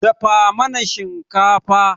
Dafa mana shinkafa.